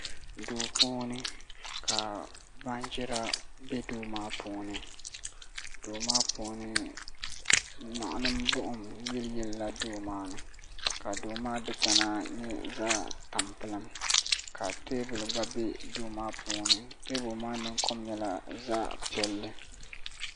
Duu puuni ka baanjira bɛ duu maa puuni duu maa puuni niɣilim buɣum yiliyili la duu maa ni ka duu maa dikpuna nyɛ zaɣ tampilim ka teebuli gba bɛ duu maa puuni teebuli maa ninkom nyɛla zaɣ piɛlli